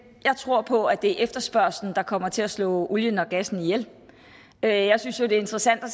jeg tror på at det er efterspørgsel der kommer til at slå olien og gassen ihjel jeg jeg synes jo det er interessant at